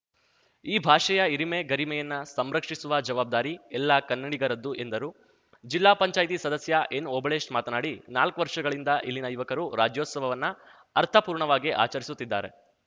ಈ ಭಾಷೆಯ ಹಿರಿಮೆ ಗರಿಮೆಯನ್ನ ಸಂರಕ್ಷಿಸುವ ಜವಾಬ್ದಾರಿ ಎಲ್ಲ ಕನ್ನಡಿಗರದ್ದು ಎಂದರು ಜಿಲ್ಲಾ ಪಂಚಾಯತಿ ಸದಸ್ಯ ಎನ್‌ಓಬಳೇಶ್‌ ಮಾತನಾಡಿ ನಾಲ್ಕು ವರ್ಷಗಳಿಂದ ಇಲ್ಲಿನ ಯುವಕರು ರಾಜ್ಯೋತ್ಸವವನ್ನ ಅರ್ಥಪೂರ್ಣವಾಗಿ ಆಚರಿಸುತ್ತಿದ್ದಾರೆ